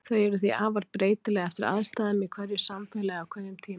Þau eru því afar breytileg eftir aðstæðum í hverju samfélagi á hverjum tíma.